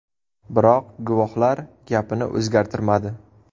Biroq guvohlar gapini o‘zgartirmadi.